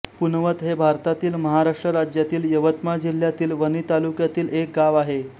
पुनवत हे भारतातील महाराष्ट्र राज्यातील यवतमाळ जिल्ह्यातील वणी तालुक्यातील एक गाव आहे